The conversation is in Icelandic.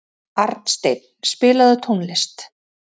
Arnsteinn, spilaðu tónlist.